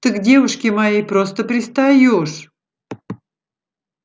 ты к девушке моей просто пристаёшь